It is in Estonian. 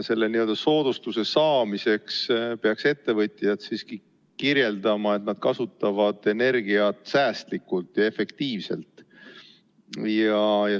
Selle soodustuse saamiseks peaks ettevõtjad siiski kirjeldama, et nad kasutavad energiat säästlikult ja efektiivselt.